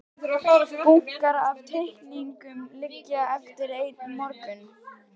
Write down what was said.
Bunkar af teikningum liggja eftir einn morgun.